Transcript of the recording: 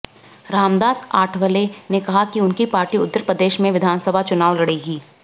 रामदास आठवले ने कहा कि उनकी पार्टी उत्तर प्रदेश में विधानसभा चुनाव लड़ेगी